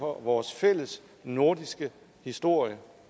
vores fælles nordiske historie